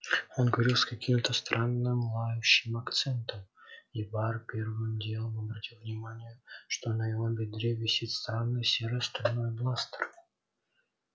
он говорил с каким-то странным лающим акцентом и бар первым делом обратил внимание что на его бедре висит странный серо-стальной бластер